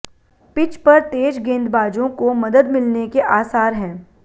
pitch पर तेज गेंदबाजों को मदद मिलने के आसार हैं